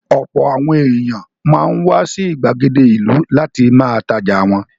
Ọ̀pọ̀ àwọn èèyàn máa ń wá sí ìgbàgede ìlú láti ma tajà wọn